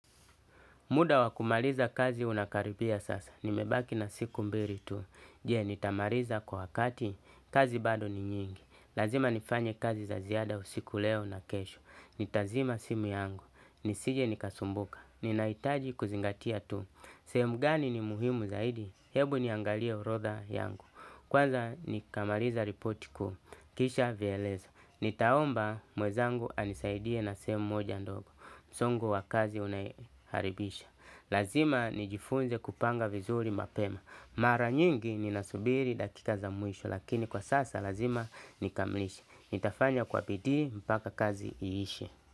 Muda wakumaliza kazi unakaribia sasa. Nimebaki na siku mbili tu. Jee, nitamariza kwa wakati. Kazi bado ni nyingi. Lazima nifanye kazi za ziada usiku leo na kesho. Nitazima simu yangu. Nisije nikasumbuka. Ninaitaji kuzingatia tu. Semu gani ni muhimu zaidi? Hebu niangalie urodha yangu. Kwanza, nikamariza ripoti kuu. Kisha vyelezo. Nitaomba mwezangu anisaidie na semu moja ndogo. Zongo wa kazi unaharibisha. Lazima nijifunze kupanga vizuri mapema. Mara nyingi ni nasubiri dakika za mwisho lakini kwa sasa lazima nikamlisha. Nitafanya kwa bidi mbaka kazi iishe.